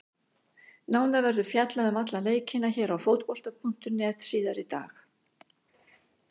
Nánar verður fjallað um alla leikina hér á Fótbolta.net síðar í dag.